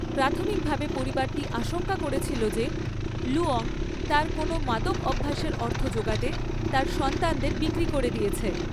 প্রাথমিকভাবে পরিবারটি আশঙ্কা করেছিল যে লুয়ং তার কোনও মাদক অভ্যাসের অর্থ যোগাতে তার সন্তানদের বিক্রি করে দিয়েছে।